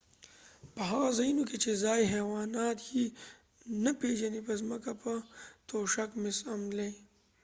په هغه ځایونو کې چې ځایي حیوانات یې نه پیژنې په ځمکه په توشک مه څملئ